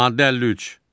Maddə 53.